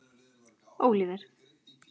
Óliver